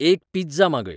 एक पिझ्झा मागय